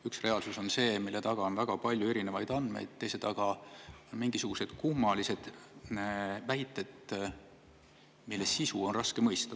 Üks reaalsus on see, mille taga on väga palju erinevaid andmeid, teises on aga mingisugused kummalised väited, mille sisu on raske mõista.